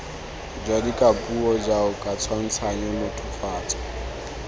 jwa dikapuo jaoka tshwantshanyo mothofatso